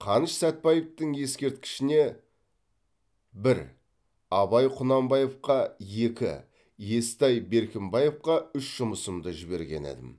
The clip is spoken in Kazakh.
қаныш сәтбаевтың ескерткішіне бір абай құнанбаевқа екі естай беркімбаевқа үш жұмысымды жіберген едім